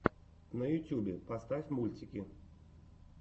на ютьюбе поставь мультики